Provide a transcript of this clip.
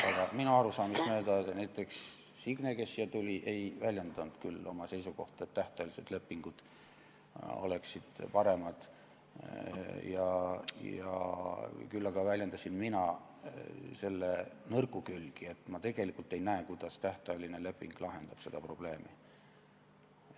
Aga minu arusaamist mööda ei väljendanud näiteks Signe küll seisukohta, nagu tähtajaline leping oleks parem, küll aga rääkisin mina selle nõrkadest külgedest, et ma ei näe, kuidas tähtajaline leping seda probleemi lahendab.